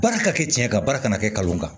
Baara ka kɛ cɛn ye ka baara kana kɛ kalan kan